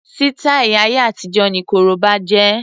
Sítáì ayé àtijó ni korobá jẹ́.